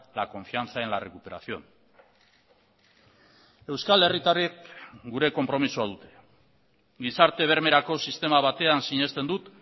la confianza en la recuperación euskal herritarrek gure konpromisoa dute gizarte bermerako sistema batean sinesten dut